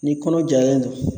Ni kɔnɔ jalen don